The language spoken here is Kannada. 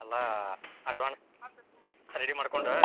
ಅಲ್ಲಾ ready ಮಾಡ್ಕೋಂಡ್.